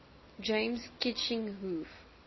james kitching hoof